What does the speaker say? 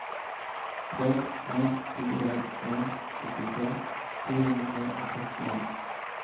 tre en fire en syttitre fire hundre og sekstien